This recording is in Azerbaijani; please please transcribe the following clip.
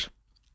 Olar.